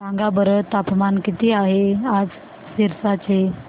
सांगा बरं तापमान किती आहे आज सिरसा चे